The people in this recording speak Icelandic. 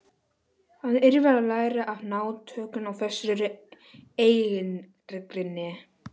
Hann yrði að læra að ná tökum á þessari eigingirni.